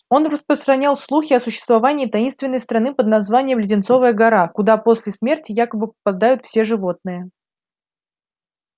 он распространял слухи о существовании таинственной страны под названием леденцовая гора куда после смерти якобы попадают все животные